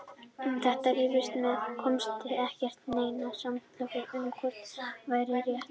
Um þetta rifust menn en komust ekki að neinu samkomulagi um hvort væri rétt.